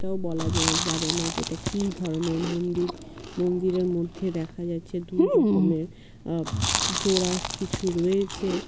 তো বলা যা-যাবে না যেটা কি ধরনের মন্দির মন্দিরের মধ্যে দেখা যাচ্ছে দুই রকমের আহ জোড়া কিছু রয়েছে।--